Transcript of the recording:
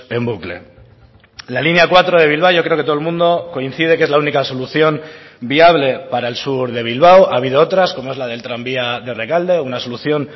en bucle la línea cuatro de bilbao yo creo que todo el mundo coincide que es la única solución viable para el sur de bilbao ha habido otras como es la del tranvía de rekalde una solución